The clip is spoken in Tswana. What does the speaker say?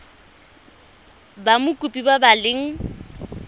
ba mokopi ba ba leng